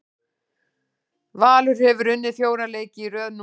Valur hefur unnið fjóra leiki í röð núna.